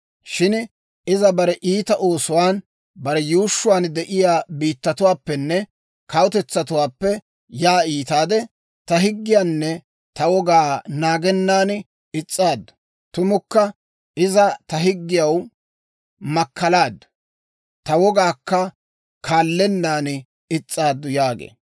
Shin iza bare iita oosuwaan, bare yuushshuwaan de'iyaa biittatuwaappenne kawutetsatuwaappe yaa iitaade, ta higgiyaanne ta wogaa naagennan is's'aaddu; tumukka iza ta higgiyaw makkalaaddu; ta wogaakka kaallennaan is's'aaddu» yaagee.